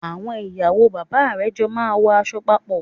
Àwon ìyàwó bàbá rè jo máa n wo aso papò